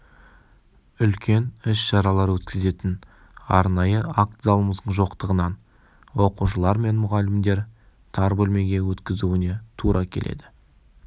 үлкен іс-шаралар өткізетін арнайы акт залымыздың жоқтығынан оқушылар мен мұғалімдер тар бөлмеге өткізуіне тура келеді